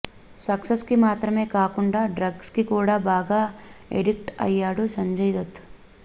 sex కి మాత్రమే కాకుండా డ్రగ్స్ కి కూడా బాగా ఎడిక్ట్ అయ్యాడు సంజయ్ దత్